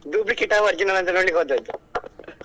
Duplicate ಆ original ಅಂತ ನೋಡ್ಲಿಕ್ಕೆ ಹೋದದ್ದು .